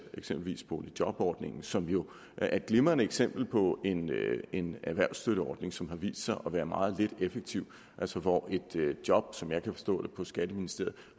eksempelvis boligjobordningen som jo er et glimrende eksempel på en erhvervsstøtteordning som har vist sig at være meget lidt effektiv altså hvor et job som jeg kan forstå det på skatteministeriet